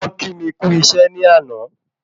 Wọ́n kí mi kù isẹ́ ni àná